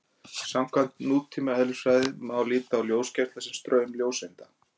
Samkvæmt nútíma eðlisfræði má líta á ljósgeisla sem straum ljóseinda.